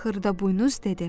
Xırdaboynuz dedi.